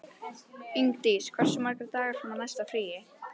Ingdís, hversu margir dagar fram að næsta fríi?